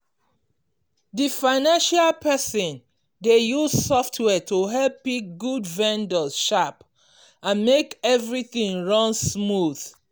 di financial person dey use software to help pick good vendors sharp and make everything run smooth.